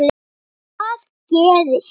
Og hvað gerist?